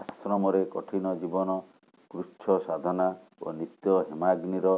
ଆଶ୍ରମରେ କଠିନ ଜୀବନ କୃଚ୍ଛସାଧନା ଓ ନିତ୍ୟ ହେମାଗ୍ନିର